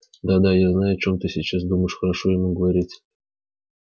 да да я знаю о чем ты сейчас думаешь хорошо ему говорить